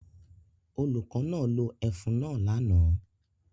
Olùkọ́ náà lo ẹfun náà lánàá